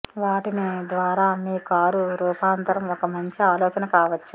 వాటిని ద్వారా మీ కారు రూపాంతరం ఒక మంచి ఆలోచన కావచ్చు